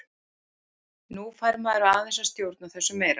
Nú fær maður aðeins að stjórna þessu meira.